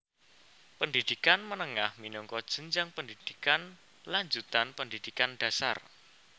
Pendhidhikan menengah minangka jenjang pendhidhikan lanjutan pendhidhikan dhasar